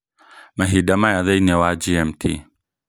mahinda maya thĩinĩ wa g. m. t.